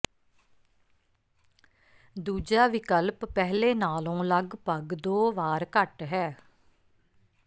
ਦੂਜਾ ਵਿਕਲਪ ਪਹਿਲੇ ਨਾਲੋਂ ਲਗਭਗ ਦੋ ਵਾਰ ਘੱਟ ਹੈ